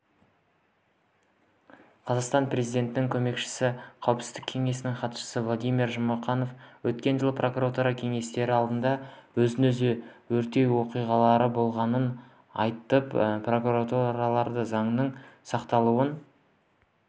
қазақстан президентінің көмекшісі қауіпсіздік кеңесінің хатшысы владимир жұмақанов өткен жылы прокуратура кеңселері алдында өзін-өзі өртеу оқиғалары болғанын айтып прокурорларды заңның сақталуын